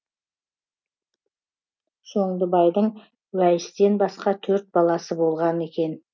шондыбайдың уәйістен басқа төрт баласы болған екен